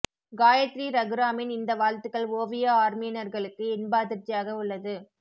காயத்ரி ரகுராமின் இந்த வாழ்த்துக்கள் ஓவியா ஆர்மியினர்களுக்கு இன்ப அதிர்ச்சியாக உள்ளது